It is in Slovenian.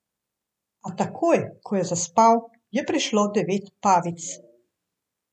A takoj, ko je zaspal, je prišlo devet pavic.